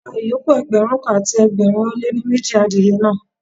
Pa ìyókù Ẹgbẹ̀rún kan àti ẹgbẹ̀rin ó lé ní méjì adìye náà.